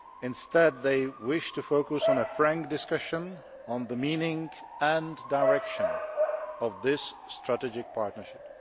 Instead, they wished to focus on a frank discussion on the meaning and direction of this Strategic Partnership.